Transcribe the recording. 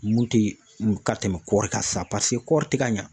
Mun tɛ ka tɛmɛ kɔɔri kan sisan paseke kɔri tɛ ka ɲɛ.